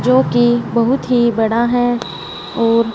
जो की बहुत ही बड़ा है और--